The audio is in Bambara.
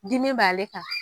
Dimi b'ale kan.